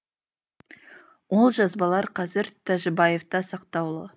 ол жазбалар қазір тәжібаевта сақтаулы